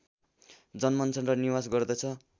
जन्मन्छ र निवास गर्दछ